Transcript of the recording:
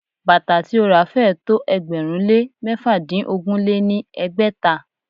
Bàtà tí ó ra féé tó ẹgbẹ̀rún lé mẹ́fàdínogún lé ní ẹgbẹ́ta.